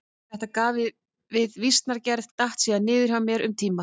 Þetta gauf við vísnagerð datt síðan niður hjá mér um tíma.